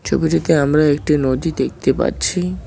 ছবিটিতে আমরা একটি নদী দেখতে পাচ্ছি।